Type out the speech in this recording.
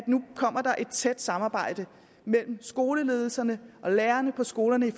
nu kommer et tæt samarbejde mellem skoleledelserne og lærerne på skolerne